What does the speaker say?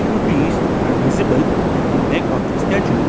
two trees are visible at the back of the statue.